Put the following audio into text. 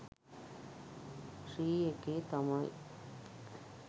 ශ්‍රී එකේ තමයි.